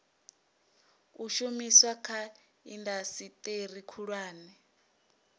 u shumiswa kha indasiteri khulwane